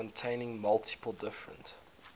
containing multiple different